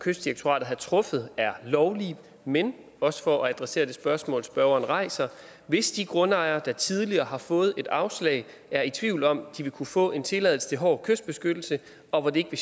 kystdirektoratet har truffet er lovlige men også for at adressere det spørgsmål spørgeren rejser hvis de grundejere der tidligere har fået et afslag er i tvivl om om de ville kunne få en tilladelse til hård kystbeskyttelse og hvor det ikke